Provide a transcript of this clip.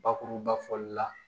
Bakuruba fɔli la